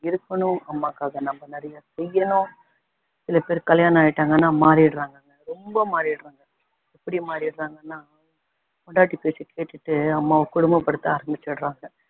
இருக்கணும் அம்மாக்காக நம்ம நிறைய செய்யணும் சில பேர் கல்யாணம் ஆயிட்டாங்கன்னா மாறிடறாங்கல்ல ரொம்ப மாறிடறாங்க எப்படி மாறிடறாங்கன்னா பொண்டாட்டி பேச்சைக்கேட்டுக்கிட்டு அம்மாவ கொடுமை படுத்த ஆரமிச்சுடறாங்க